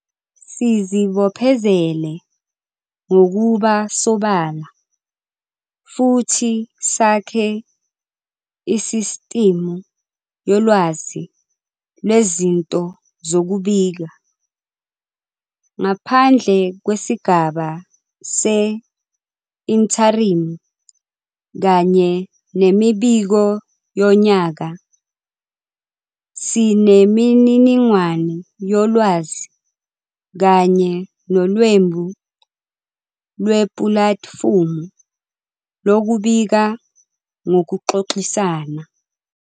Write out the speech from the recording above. Sizibophezele ngokuba sobala futhi sakhe isisitimu yolwazi lwezinto zokubika. Ngaphandle kwesigaba se-intharimu kanye nemibiko yonyaka, sinemininingwane yolwazi kanye nolwembu lwepulatifumu lokubika ngokuxoxisana.